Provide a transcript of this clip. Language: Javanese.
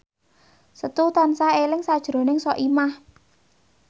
Setu tansah eling sakjroning Soimah